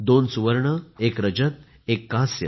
2 सुवर्ण 1 रजत 1 कांस्य